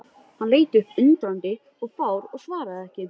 Hann leit upp undrandi og fár og svaraði ekki.